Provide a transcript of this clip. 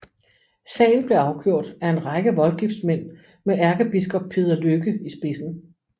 Sagen blev afgjort ef en række voldgiftsmænd med ærkebiskop Peder Lykke i spidsen